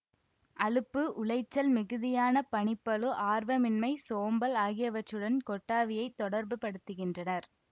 அலுப்பு உளைச்சல் மிகுதியான பணிப்பளு ஆர்வமின்மை சோம்பல் ஆகியவற்றுடன் கொட்டாவியைத் தொடர்பு படுத்துகின்றனர்